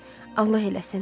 Allah eləsin.